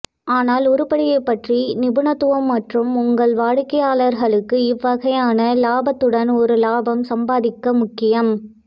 ஆனால் உருப்படியைப் பற்றிய நிபுணத்துவம் மற்றும் உங்கள் வாடிக்கையாளர்களுக்கு இவ்வகையான இலாபத்துடன் ஒரு லாபம் சம்பாதிக்க முக்கியம்